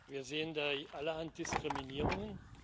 Wir sehen da allerhand Diskriminierungen.